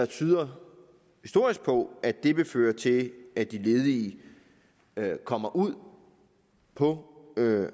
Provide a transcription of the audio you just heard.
tyder på at det vil føre til at de ledige kommer ud på